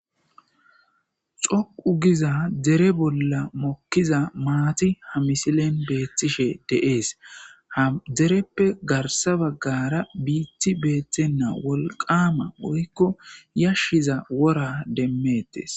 xoqu giza dere bolla mokkiza maati ha misilen beettishe de'ees ha dereppe garsa baggara biiti beettenna wolqama woykko yashshiza wora demmettes